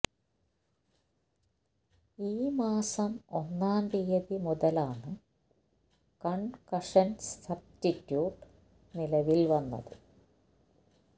ഈ മാസം ഒന്നാം തീയതി മുതലാണ് കൺകഷൻ സബ്സ്റ്റിറ്റ്യൂട്ട് നിലവിൽ വന്നത്